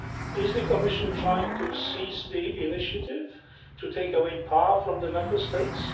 Is the Commission trying to seize the initiative, to take away power from the Member States?